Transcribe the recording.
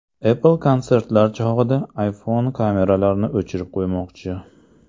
Apple konsertlar chog‘ida iPhone kameralarini o‘chirib qo‘ymoqchi.